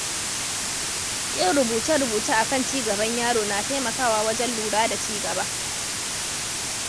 Yin rubuce-rubuce akan ci gaban yaro na taimakawa wajen lura da cigaba.